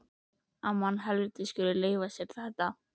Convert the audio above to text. Að mannhelvítið skuli leyfa sér þetta!